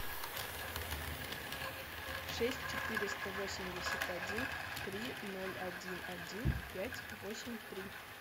шесть четыреста восемьдесят один три ноль один один пять восемь три